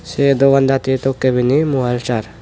se dogan dachi tokki pini mobile sar.